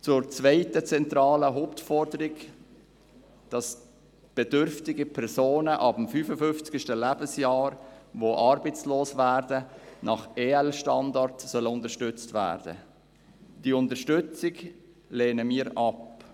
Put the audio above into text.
Zur zweiten zentralen Hauptforderung, dass bedürftige Personen ab dem 55. Lebensjahr, die arbeitslos werden, nach EL-Standard unterstützt werden sollen: Diese Unterstützung lehnen wir ab.